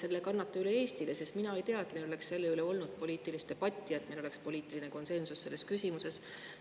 Kas te kannate selle üle ka Eestile, sest mina ei tea, et meil oleks selle üle olnud poliitilist debatti ja et meil oleks poliitiline konsensus selles küsimuses?